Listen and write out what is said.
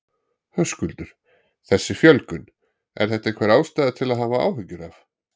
Höskuldur: Þessi fjölgun, er þetta einhver ástæða til að hafa áhyggjur af?